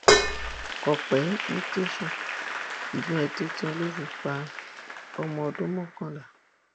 kọpẹ ń tèèṣì ìbọn ẹ tuntun ló bá fi pa ọmọ ọdún mọkànlá